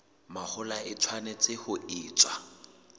mahola e tshwanetse ho etswa